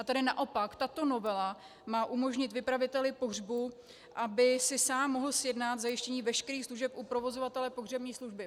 A tady naopak tato novela má umožnit vypraviteli pohřbu, aby si sám mohl sjednat zajištění veškerých služeb u provozovatele pohřební služby.